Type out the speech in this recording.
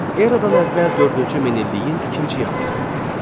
Eradan əvvəl dördüncü min illiyin ikinci yarısı.